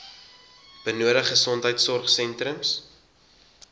benodig gesondheidsorg sentrums